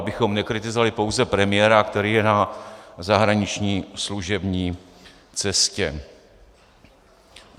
Abychom nekritizovali pouze premiéra, který je na zahraniční služební cestě.